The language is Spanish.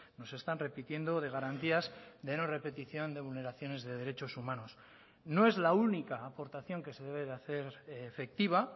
nos están repitiendo de garantías de no repetición de vulneraciones de derechos humanos no es la única aportación que se debe de hacer efectiva